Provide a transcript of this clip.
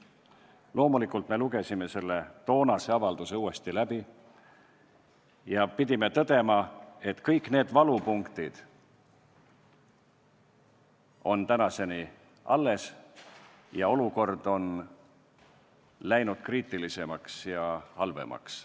Loomulikult lugesime toonase avalduse uuesti läbi ja pidime tõdema, et kõik need valupunktid on tänaseni alles ning et olukord on läinud kriitilisemaks ja halvemaks.